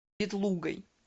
ветлугой